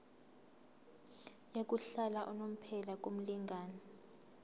yokuhlala unomphela kumlingani